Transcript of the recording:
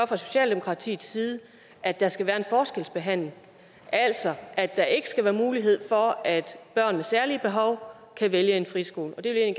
fra socialdemokratiets side at der skal være en forskelsbehandling altså at der ikke skal være mulighed for at børn med særlige behov kan vælge en friskole og det vil jeg